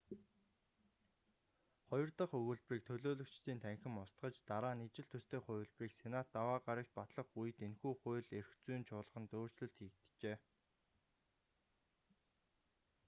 хоёр дах өгүүлбэрийг анх төлөөлөгчдийн танхим устгаж дараа нь ижил төстэй хувилбарыг сенат даваа гарагт батлах үед энэхүү хууль эрх зүйн чуулганд өөрчлөлт хийгджээ